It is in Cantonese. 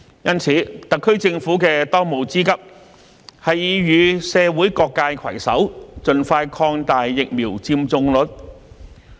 因此，特區政府的當務之急是與社會各界攜手，盡快提高疫苗接種率。